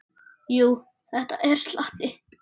Jú, það er slatti.